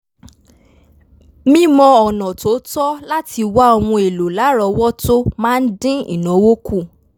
mímọ ọ̀nà tó tọ́ láti wá ohun èlò lárọwọtó máa ń dín ìnáwó kù